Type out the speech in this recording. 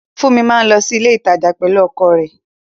Funmi máa lọ sí ilé ìtajà pẹ̀lú ọkọ̀ rẹ̀